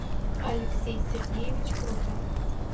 алексей сергеевич крутов